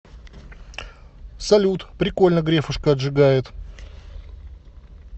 салют прикольно грефушка отжигает